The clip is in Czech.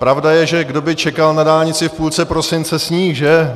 Pravda je, že kdo by čekal na dálnici v půlce prosince sníh, že?